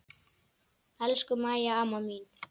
Elsku Mæja amma mín.